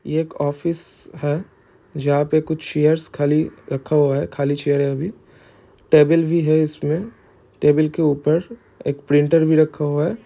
एक ऑफिस है जहाँ पे कुछ चेयरे खाली रखा हुआ है। खाली चेयर है वहाँ अभी टेबिल भी है। उसमे टेबिल के ऊपर एक प्रिंटर भी रखा हुआ है।